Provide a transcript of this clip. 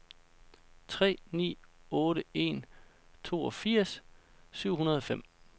tre ni otte en toogfirs syv hundrede og fem